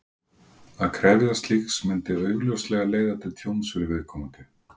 Að krefjast slíks myndi augljóslega leiða til tjóns fyrir viðkomandi.